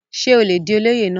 ṣé ó le di olóyè náà?